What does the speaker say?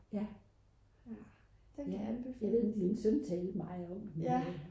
den kan anbefales